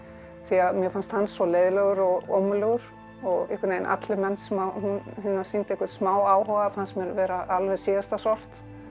því mér fannst hann svo leiðinlegur og ómögulegur og einhvern veginn allir menn sem hún sýndi einhvern smá áhuga fannst mér vera alveg síðasta sort